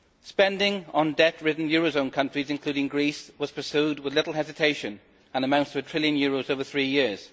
Spending on debt ridden eurozone countries, including Greece, was pursued with little hesitation and amounts to a trillion euros over three years.